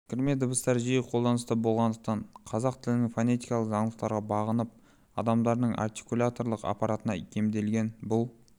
кірме дыбыстар жиі қолданыста болғандықтан қазақ тілінің фонетикалық заңдылықтарға бағынып адамдардың артикуляторлық аппаратына икемделген бұл